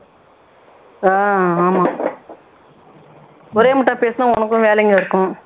ஆஹ் ஆமா ஒரேமுட்டா பேசுனா உனக்கும் வேலைங்க இருக்கும்